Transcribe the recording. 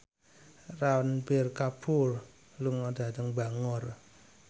Ranbir Kapoor lunga dhateng Bangor